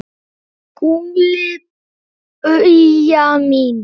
SKÚLI: Bauja mín!